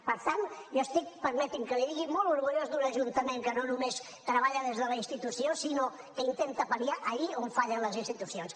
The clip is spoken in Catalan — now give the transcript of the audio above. per tant jo estic permeti’m que l’hi digui molt orgullós d’un ajuntament que no només treballa des de la institució sinó que intenta pal·liar allí on fallen les institucions